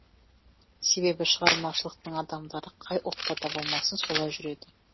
себебі шығармашылықтың адамдары қай ұлтта да болмасын солай жүреді